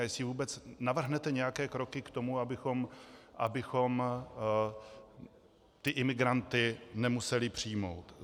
A jestli vůbec navrhnete nějaké kroky k tomu, abychom ty imigranty nemuseli přijmout.